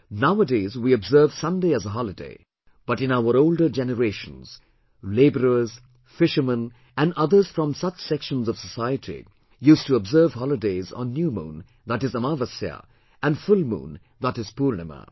Nowadays we observe Sunday as a holiday but in our older generations, labourers, fishermen and others from such sections of society used to observe holidays on New Moon, that is Amavasya and Full Moon, that is Poornima